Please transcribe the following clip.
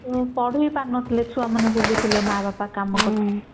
ଆଗରୁ ପଢି ବି ପାରୁ ନଥିଲେ ଛୁଆ ବୁଲୁଥିଲେ ମାନେ ମା ବାପା କାମ କରୁଥିଲେ